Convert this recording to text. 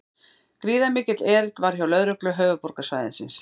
Gríðarmikill erill var hjá lögreglu höfuðborgarsvæðisins